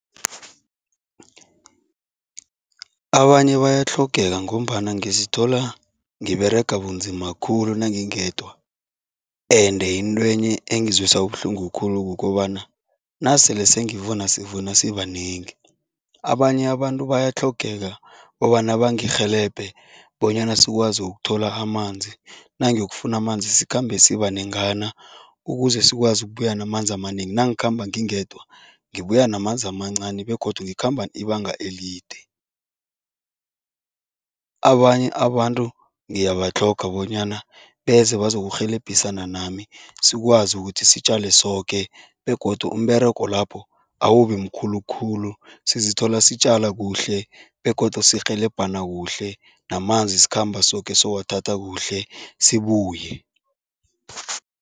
Abanye bayatlhogeka ngombana ngizithola ngiberega bunzima khulu nangingedwa ende intwenye engizwisa ubuhlungu khulu kukobana nasele sengivuma sivuna sibanengi. Abanye abantu bayatlhogeka kobana bangirhelebhe bonyana sikwazi ukuthola amanzi, nangiyokufuna amanzi sikhambe sibanengana ukuze sikwazi ukubuya namanzi amanengi. Nangikhamba ngingedwa, ngibuya namanzi amancani begodu ngikhamba ibanga elide. Abanye abantu ngiyabatlhoga bonyana beze bazokurhelebhisana nami sikwazi ukuthi sitjale soke begodu umberego lapho awubimkhulu khulu, sizithola sitjala kuhle begodu sirhelebhana kuhle namanzi sikhamba soke sowathatha kuhle sibuye.